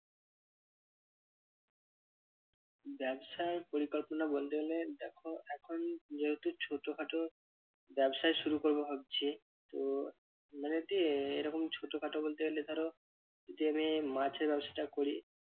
ব্যবসায় পরিকল্পনা বলতে গেলে দেখো এখন যেহেতু ছোট খাটো ব্যবসাই শুরু করবো ভাবছি তো মানে এরকম ছোট খাটো বলতে গেলে ধরো যে আমি মাছের ব্যবসাটা করি